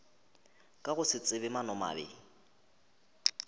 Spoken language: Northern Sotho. ka go se tsebe maanomabe